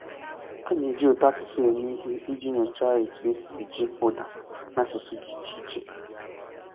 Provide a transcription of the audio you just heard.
A na-eji ụtọasụsụ eme ihe iji nyochaa etu e si eji ụda na asụsụ dị iche iche.